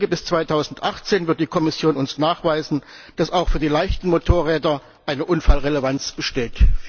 Bis 2018 wird die Kommission uns nachweisen, dass auch für die leichten Motorräder eine Unfallrelevanz besteht.